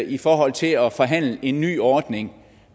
i forhold til at forhandle en ny ordning